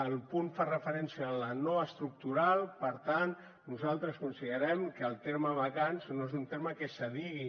el punt fa referència a la no estructural per tant nosaltres considerem que el terme vacants no és un terme que es digui